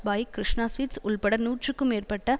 bike Krishna sweets உள்பட நூற்றுக்கும் மேற்ப்பட்ட